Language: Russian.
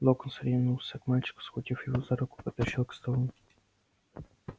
локонс ринулся к мальчику схватил его за руку потащил к столу